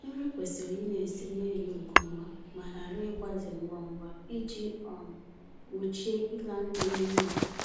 Nri kwesịrị ịna-ese n'elu nke ọma ma ghara ịgbaze ngwa ngwa iji um gbochie ịla nri n'iyi